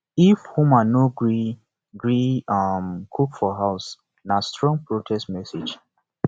if women no gree gree um cook for house na strong protest message